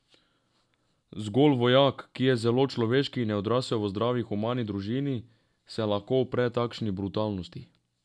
Zgolj vojak, ki je zelo človeški in je odrasel v zdravi, humani družini, se lahko upre takšni brutalnosti.